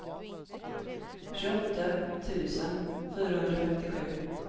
tjugoåtta tusen fyrahundrafemtiosju